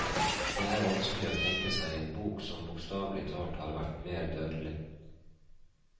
Det er vanskelig å tenke seg en bok som bokstavelig talt har vært mer dødelig.